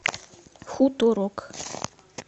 хуторок